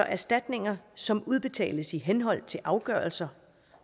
erstatninger som udbetales i henhold til afgørelser